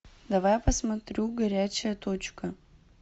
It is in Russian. давай я посмотрю горячая точка